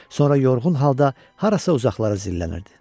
Sonra yorğun halda harasa uzaqlara zillənirdi.